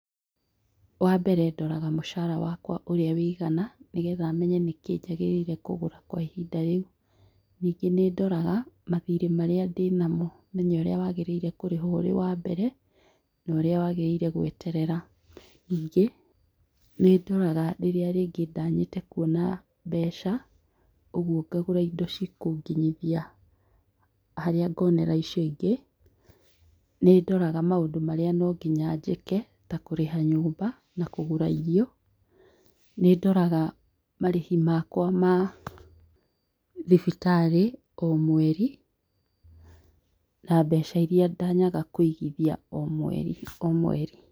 Wambere ndoraga mũcara wakwa ũrĩa wĩigana nĩgetha menye nĩkĩ njagĩrĩre kũgũra kwa ihinda rĩu, ningĩ nĩndoraga mathirĩ marĩa ndĩnamo menye ũrĩa wagĩrĩire kũrĩhwo ũrĩ wambere, na ũrĩa wagĩrĩire gweterera, ningĩ, nĩndoraga rĩrĩa rĩngĩ ndanyĩte kuona mbeca ũgũo ngagũra indo cikũnginyithia harĩa ngonera icio ingĩ, nĩndoraga maũndũ marĩa nongĩnya njĩke ta kũriha nyumba na kũgũra irio, nĩndoraga marĩhi makwa ma thimbitarĩ o mweri, na mbeca iria ndanyaga kũigithia o mweri o mweri